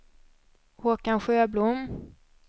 Håkan Sjöblom